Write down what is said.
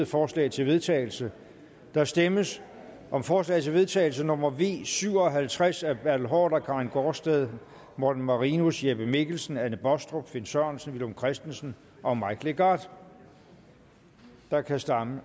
forslag til vedtagelse der stemmes om forslag til vedtagelse nummer v syv og halvtreds af bertel haarder karin gaardsted morten marinus jeppe mikkelsen anne baastrup finn sørensen villum christensen og mike legarth og der kan